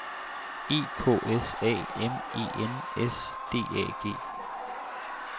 E K S A M E N S D A G